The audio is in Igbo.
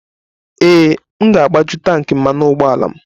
Ee, m ga-agbaju tanki mmanụ ụgbọala m.